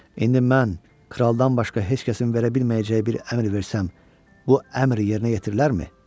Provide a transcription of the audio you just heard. İndi mən kraldan başqa heç kəsin verə bilməyəcəyi bir əmr versəm, bu əmr yerinə yetirilərmi?